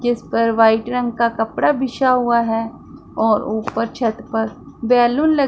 जिस पर व्हाइट रंग का कपड़ा बिछा हुआ है और ऊपर छत पर बैलून ल--